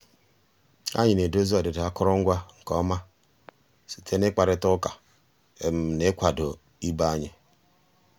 ànyị́ ná-èdòzí ọ́dị́dà àkụ́rụngwa nkè ọ́má síté ná ị́kpàrị́tá ụ́ká ná ị́kwàdó ìbé ànyị́.